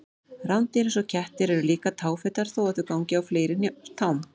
Rándýr eins og kettir eru líka táfetar þó að þau gangi á fleiri tám.